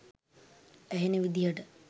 ඇහෙන විදිහට.